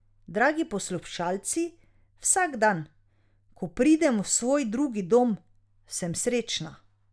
Dragi poslušalci, vsak dan, ko pridem v svoj drugi dom, sem srečna.